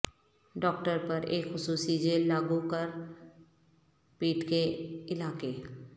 doctor پر ایک خصوصی جیل لاگو کر پیٹ کے علاقے